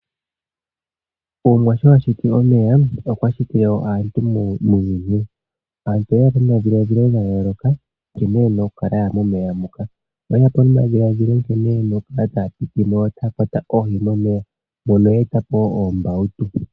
Omwa sho ashiti omeya okwashiti wo aantu muuyuni. Aantu oyeya po nomadhiladhilo gayooloka nkene yena okukala yaya momeya moka, oyeya po nomadhiladhilo nkene yena okukala taya piti mo yo taya kwata oohi momeya moka ye eta po oombawutu.